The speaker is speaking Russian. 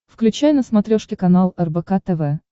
включай на смотрешке канал рбк тв